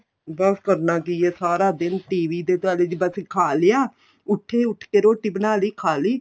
ਬੱਸ ਕਰਨਾ ਕੀ ਏ ਸਾਰਾ ਦਿਨ TV ਤੇ ਤੁਹਾਡੇ ਦੀ ਬੱਸ ਖਾ ਲਿਆ ਉਠੇ ਉਠ ਕੇ ਰੋਟੀ ਬਣਾ ਲਈ ਖਾ ਲਈ